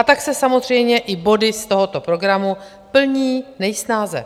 A tak se samozřejmě i body z tohoto programu plní nejsnáze,